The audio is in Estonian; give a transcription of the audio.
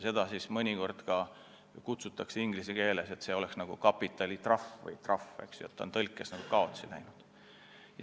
Seda mõnikord väljendatakse inglise keeles nii, et see oleks nagu kapitalitrahv või trahv – see on tõlkes justkui kaotsi läinud.